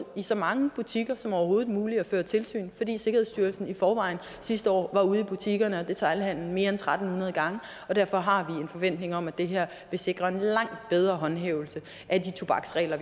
i så mange butikker som overhovedet muligt og fører tilsyn sikkerhedsstyrelsen var i forvejen sidste år ude i butikkerne og detailhandelen mere end tre hundrede gange og derfor har vi en forventning om at det her vil sikre en langt bedre håndhævelse af de tobaksregler